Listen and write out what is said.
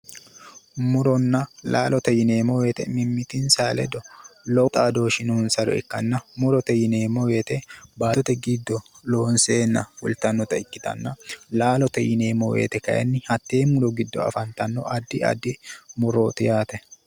Muronna laalote yineemmo woyte mimmitinsa ledo lowo xaadooshshi noonsare ikkanna murote yineemmo woyte battote giddo loonseenna fultannota ikkitanna laalote yineemmo woyte kayinni hattee muro giddo afantanno addi addi murooti yaate